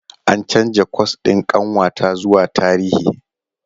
An canza kwas ɗin ƙanwata zuwa Tarihi.